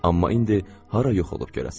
Amma indi hara yuxu olub görəsən.